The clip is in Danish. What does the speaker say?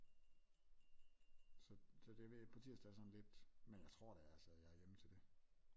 Så det ved jeg ikke på tirsdag er sådan lidt men jeg tror da altså jeg er hjemme til det